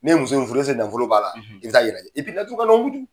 Ne ye muso in furu nafolo b'a la i bɛ taa yirɛ